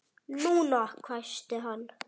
NÚNA! hvæsti hann.